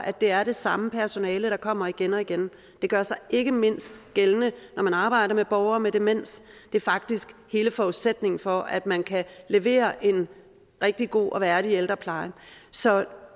det er det samme personale der kommer igen og igen det gør sig ikke mindst gældende når man arbejder med borgere med demens det er faktisk hele forudsætningen for at man kan levere en rigtig god og værdig ældrepleje så